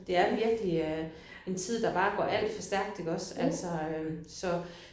Det er virkelig øh en tid der bare går alt for stærk iggås altså øh så